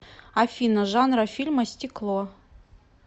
афина жанра фильма стекло